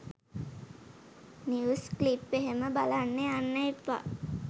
News clip එහෙම බලන්න යන්න එපා.